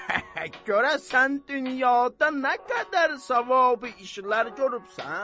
Görəsən dünyada nə qədər savabı işlər görübsən?